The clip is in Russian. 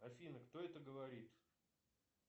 афина кто это говорит